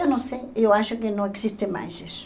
Eu não sei, eu acho que não existe mais isso.